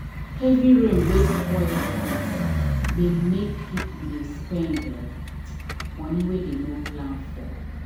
heavy rain wey spoil light dey make people dey spend um money wey dem no plan for.